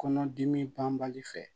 Kɔnɔdimi banbali fɛ